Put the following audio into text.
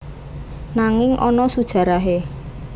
Nanging ana sujarahe